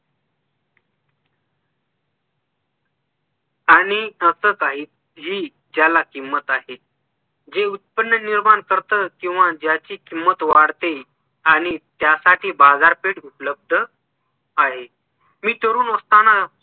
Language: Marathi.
आणि हसत आहे हि ज्याला किंमत आहे जे उत्पन्न निर्माण करत किंवा ज्याची किंमत वाढते आणि त्यासाठी बाजारपेठ उपलब्ध आहे. मी तरुण असताना